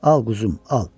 Al quzum, al.